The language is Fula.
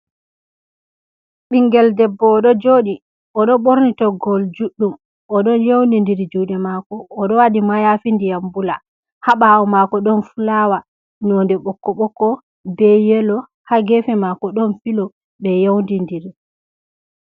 Ɓiingel debbo oɗo jodi: Odo borni toggol juɗɗum o ɗon yawnidiri juuɗe mako oɗo wadi mayafi ndiyam bula ha bawo mako ɗon fulawa nonɗe bokko bokko be yelo ha gefe mako ɗon filo ɓe yawnidiri.